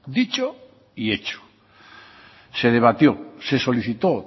dicho y hecho se debatió se solicitó